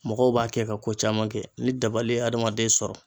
Mɔgɔw b'a kɛ ka ko caman kɛ ni dabali ye adamaden sɔrɔ